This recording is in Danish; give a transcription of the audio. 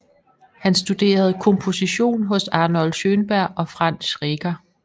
Han studerede komposition hos Arnold Schönberg og Franz Schreker